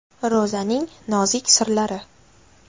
Ro‘zaning nozik sirlari.